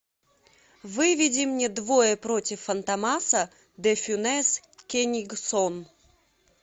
выведи мне двое против фантомаса де фюнес кенигсон